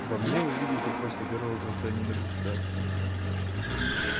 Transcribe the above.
во мне вы видите просто первого гражданина государства